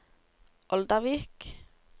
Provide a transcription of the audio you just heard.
Oldervik